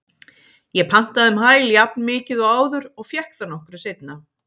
Ég pantaði um hæl jafnmikið og áður og fékk það nokkru seinna.